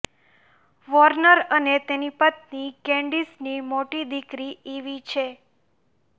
Warner અને તેની પત્ની કેન્ડીસની મોટી દિકરી ઇવી છે